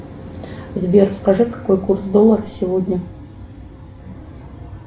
сбер скажи какой курс доллара сегодня